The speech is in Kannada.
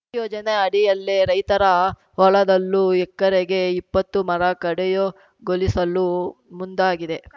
ಈ ಯೋಜನೆ ಅಡಿಯಲ್ಲೇ ರೈತರ ಹೊಲದಲ್ಲೂ ಎಕರೆಗೆ ಇಪ್ಪತ್ತರ ಮರ ಕಡಯುಗೊಳಿಸಲು ಮುಂದಾಗಿದೆ